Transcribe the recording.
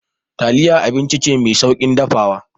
Taliya abinci ce mai sauƙin dafawa.